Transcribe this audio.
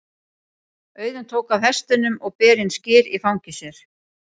Auðunn tók af hestinum og ber inn skyr í fangi sér.